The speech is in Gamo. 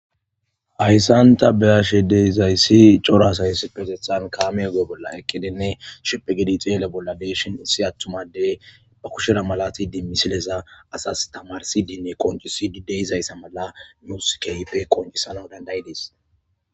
Hayssanta beashe deizayssi corasayssi pesethan kaameago'e bolla eqqidenne shipe gidixi yele bolla leeshin issi attumadey ba kushira malati di misileza asas tamarsidinne qoncisi dideyizayssa mala muusikeype qoncisana dandayidiis.